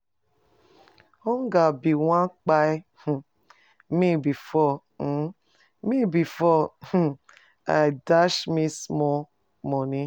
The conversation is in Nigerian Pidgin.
Hunger bin wan kpai um me before um me before um im dash me small moni.